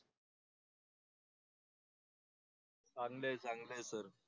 चांगले चांगले आहे सर.